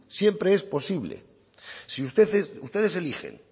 siempre es posible si ustedes eligen